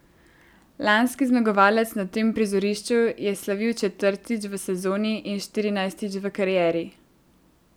Lanski zmagovalec na tem prizorišču je slavil četrtič v sezoni in štirinajstič v karieri.